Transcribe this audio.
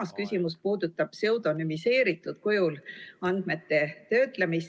Kolmas küsimus puudutab pseudonümiseeritud kujul andmete töötlemist.